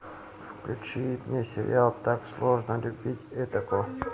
включи мне сериал так сложно любить отаку